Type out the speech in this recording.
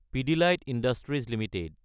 Pidilite industries Ltd